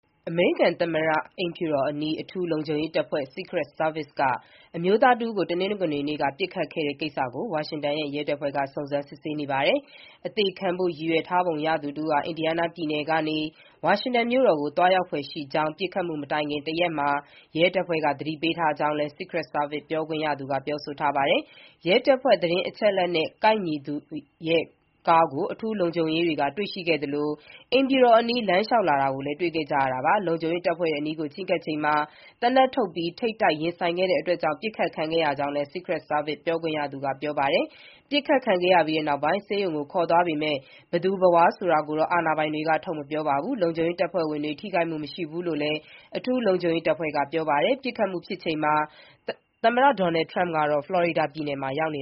အမေရိကန် သမ္မတအိမ်ဖြူတော်အနီး အထူးလုံခြုံရေးတပ်ဖွဲ့ Secret Service က အမျိုးသားတဦးကို မနေ့၊ တနင်္ဂနွေနေ့က ပစ်ခတ်ခဲ့တဲ့ကိစ္စကို ဝါရှင်တန်ရဲတပ်ဖွဲ့က စုံစမ်းစစ်ဆေးနေပါတယ်။ အသေခံဖို့ ရည်ရွယ်ထားပုံရသူတဦးဟာ အင်ဒီယားနားပြည်နယ်ကနေ ဝါရှင်တန်မြို့တော်ကို သွားရောက်ဖွယ်ရှိကြောင်း ပစ်ခတ်မှုမတိုင်ခင်တရက်မှာ ရဲတပ်ဖွဲ့က သတင်းပေးထားကြောင်းလည်း Secret Service ပြောခွင့်ရသူက ပြောထားပါတယ်။ ရဲတပ်ဖွဲ့သတင်းအချက်အလက်နဲ့ ကိုက်ညီသူရဲ့ကားကို အထူးလုံခြုံရေးတွေက တွေ့ရှိခဲ့သလို အိမ်ဖြူတော်အနီး လမ်းလျှောက်လာတာကို တွေ့ခဲ့ကြတာပါ။ လုံခြုံရေးတပ်ဖွဲ့တွေအနီးကို ချဉ်းကပ်ချိန်မှာ သေနတ်ထုတ်ပြီးထိပ်တိုက်ရင်ဆိုင်တာကြောင့် ပစ်ခတ်ခဲ့ရကြောင်းလည်း Secret Service ပြောခွင့်ရသူက ပြောပါတယ်။ ပစ်ခတ်ခံခဲ့ရပြီးနောက် ဆေးရုံကို ခေါ်သွားပေမဲ့ ဘယ်သူဘယ်ဝါ ဆိုတာကိုတော့ အာဏာပိုင်တွေက ထုတ်မပြောပါဘူး။ လုံခြုံရေးတပ်ဖွဲ့ဝင်တွေ ထိခိုက်မှု မရှိဘူးလို့လည်း အထူးလုံခြုံရေးတပ်ဖွဲ့က ပြောပါတယ်။ ပစ်ခတ်မှုဖြစ်ချိန်မှာ သမ္မတ Donald Trump ကတော့ ဖလော်ရီဒါပြည်နယ်မှာ ရောက်နေ